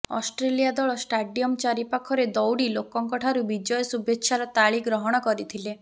Australia ଦଳ stadium ଚାରି ପାଖରେ ଦୌଡ଼ି ଲୋକଙ୍କଠାରୁ ବିଜୟ ଶୁଭେଚ୍ଛାର ତାଳି ଗ୍ରହଣ କରିଥିଲେ